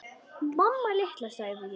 Mamma litla, sagði ég.